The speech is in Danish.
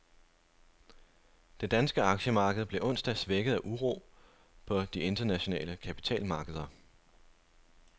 Det danske aktiemarked blev onsdag svækket af uro på de internationale kapitalmarkeder.